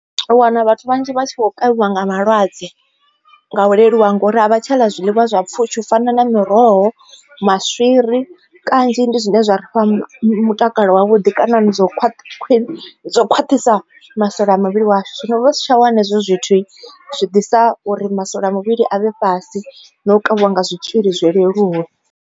U wana vhathu vhanzhi vha tshi khou kavhiwa nga malwadze nga u leluwa ngori a vha tsha ḽa zwiḽiwa zwa pfhushi u fana na miroho, maswiri kanzhi ndi zwine zwa ri fha mutakalo wa vhuḓi ndi kana ni dzo dzo khwaṱhisa masole a muvhili washu zwino vha si tsha wana hezwo zwithu zwi ḓisa uri masole a muvhili avhe fhasi na u kavhiwa nga zwitzhili zwi leluwe.